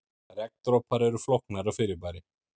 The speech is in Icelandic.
Regndropar eru flóknara fyrirbæri.